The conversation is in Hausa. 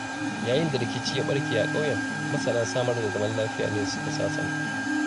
Yayin da rikici ya ɓarke a ƙauyen, masana samar da zaman lafiya ne suka sasanta.